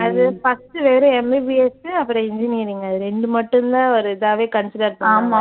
அது first uh வெறும் MBBS uh அப்புறம் engineering அது ரெண்டு மட்டும் தான் ஒரு இதாவே consider பண்ணாங்க